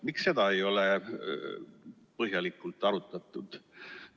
Miks seda ei ole põhjalikult arutatud?